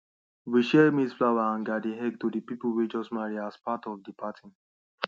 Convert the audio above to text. we share maize flour and garden eggs to the people way just marry as part of the party